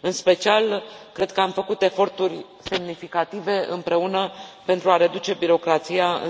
În special, cred că am făcut eforturi semnificative împreună pentru a reduce birocrația